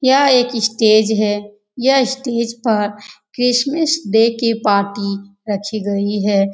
यह एक स्टेज है। यह स्टेज पर क्रिश्मस डे की पार्टी रखी गयी है।